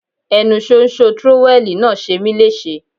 Ẹnu ṣóńṣó trówẹ́ẹ̀lì náà ṣe mí léṣe.